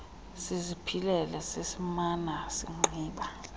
siziphilele sasimana singqiba